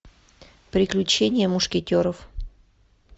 приключения мушкетеров